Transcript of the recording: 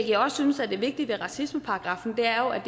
jeg også synes er vigtigt med racismeparagraffen er at